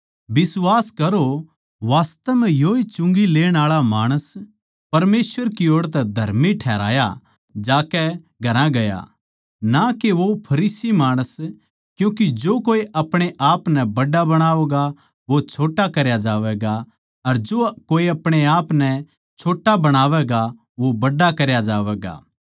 बिश्वास करो वास्तव म्ह योए चुंगी लेण आळा माणस परमेसवर की ओड़ तै धर्मी ठहराया जाकै घरां गया ना के वो फरीसी माणस क्यूँके जो कोए अपणे आपनै बड्ड़ा बणावैगा वो छोट्टा करया जावैगा अर जो कोए अपणे आपनै छोट्टा बणावैगा वो बड्ड़ा करया जावैगा